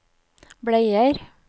bleier